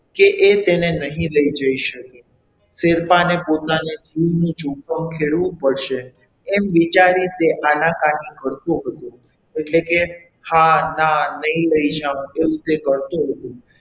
કે એ તેને નહીં લઈ જઈ શકે ફેરફારને પોતાને જીવનું જોખમ ખેડવું પડશે એમ વિચારી તે આનાકાની કરતો હતો એટલે કે હા ના નહીં લઈ જાઉં તેવું તે કરતો હતો.